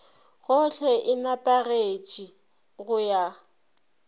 gohle e nepagetše go ya